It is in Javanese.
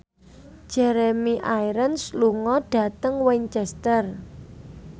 Jeremy Irons lunga dhateng Winchester